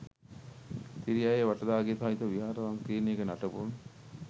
තිරියාය වටදාගේ සහිත විහාර සංකීර්ණයක නටබුන්